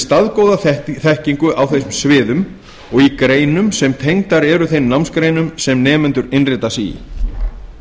staðgóða þekkingu á þeim sviðum og í greinum sem tengdar eru þeim námsgreinum sem nemendur innrita sig í